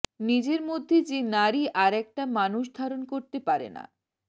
নিজের মধ্যে যে নারী আরেকটা মানুষ ধারণ করতে পারে না